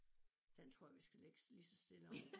Den tror jeg vi skal lægge lige så stille over